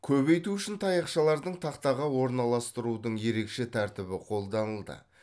көбейту үшін таяшалардың тақтаға орналастырудың ерекше тәртібі қолданылды